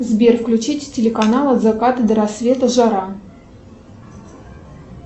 сбер включить телеканал от заката до рассвета жара